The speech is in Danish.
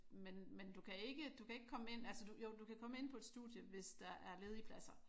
Men men du kan ikke du kan ikke komme ind altså jo du kan komme ind på et studie hvis der er ledige pladser